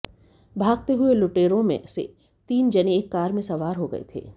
भागते हुए लुटेरों में से तीन जने एक कार में सवार हो गये थे